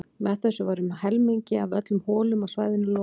Með þessu var um helmingi af öllum holum á svæðinu lokað.